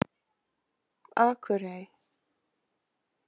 Akurey